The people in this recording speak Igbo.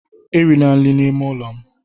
erila nri n'ime ụlọ m